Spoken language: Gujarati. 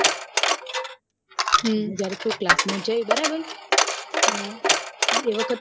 હમ જયારે તુ class માં જઈ બરાબર એ વખત